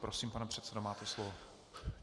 Prosím, pane předsedo, máte slovo.